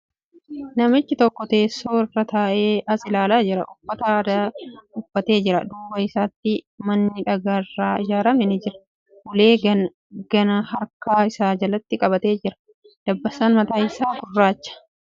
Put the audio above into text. Namichi tokko teessoo irra taa'ee as ilaalaa jira. Uffata aadaa uffatee jira. Duuba isaatti manni dhagaa irraa ijaarame ni jira. Ulee ganaa harka isaa jalatti qabatee jira. Dabbasaan mataa isaa gurraacha.